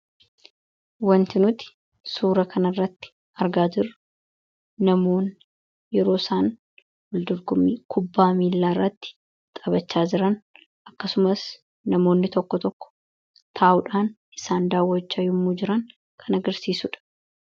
wanti nuti suura kana irratti argaa jiru namoonni yeroo isaan waldorgommii kubbaa miilaa irratti taphachaa jiran akkasumas namoonni tokko tokko taa'uudhaan isaan daawwachaa yommuu jiran kan agirsiisuudha